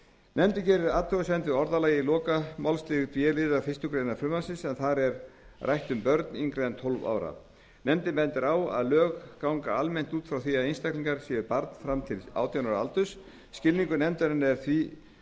nefndin gerir athugasemd við orðalag í lokamálslið b liðar fyrstu grein frumvarpsins en þar er rætt um börn yngri en tólf ára nefndin bendir á að lög gangi almennt út frá því að einstaklingur sé barn fram til átján ára aldurs skilningur nefndarinnar er því